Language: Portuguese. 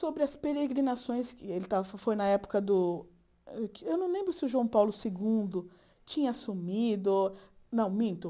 sobre as peregrinações que ele estava... Foi na época do... Eu não lembro se o João Paulo segundo tinha assumido... Não, minto.